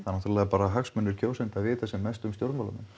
náttúrulega bara hagsmunir kjósenda að vita sem mest um stjórnmálamenn